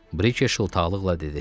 Brike şıltaqlıqla dedi.